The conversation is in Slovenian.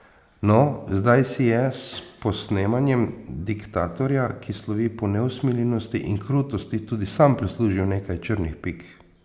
No, zdaj si je s posnemanjem diktatorja, ki slovi po neusmiljenosti in krutosti, tudi sam prislužil nekaj črnih pik.